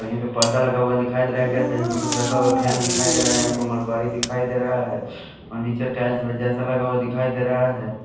यहां पे पर्दा लगा हुआ दिखाई दे रहा है यहां पे कुछ रखा हुआ फैन दिखाई दे रहा है यहां पे मलबाड़ी दिखाई दे रहा है फर्नीचर टाइल्स जैसा लगा हुआ दिखाई दे रहा है।